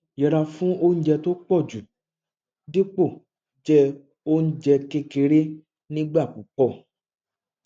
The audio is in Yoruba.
yẹra fún oúnjẹ tó po ju dípò je oúnjẹ kékeré nigba pupo